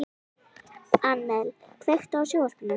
Annel, kveiktu á sjónvarpinu.